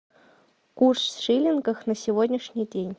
курс в шиллингах на сегодняшний день